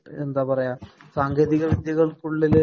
എന്താ പറയ്ക സാങ്കേതിക വിദ്യകള്‍ക്കുള്ളില്